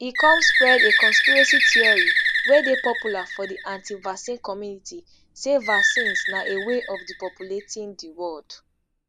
e come spread a conspiracy theory wey dey popular for di antivaccine community say vaccines na a way of depopulating di world